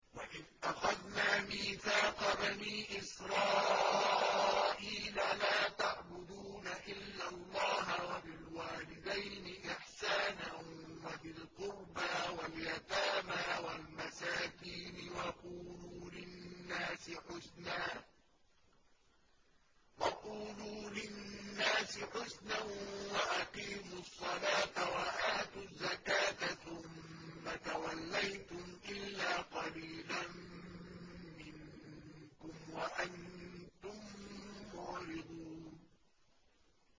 وَإِذْ أَخَذْنَا مِيثَاقَ بَنِي إِسْرَائِيلَ لَا تَعْبُدُونَ إِلَّا اللَّهَ وَبِالْوَالِدَيْنِ إِحْسَانًا وَذِي الْقُرْبَىٰ وَالْيَتَامَىٰ وَالْمَسَاكِينِ وَقُولُوا لِلنَّاسِ حُسْنًا وَأَقِيمُوا الصَّلَاةَ وَآتُوا الزَّكَاةَ ثُمَّ تَوَلَّيْتُمْ إِلَّا قَلِيلًا مِّنكُمْ وَأَنتُم مُّعْرِضُونَ